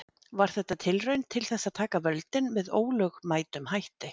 Var þetta tilraun til þess að taka völdin með ólögmætum hætti?